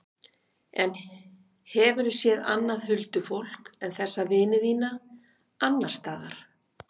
En hefurðu séð annað huldufólk en þessa vini þína, annars staðar?